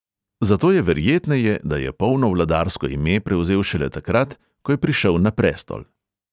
Zato je verjetneje, da je polno vladarsko ime prevzel šele takrat, ko je prišel na prestol.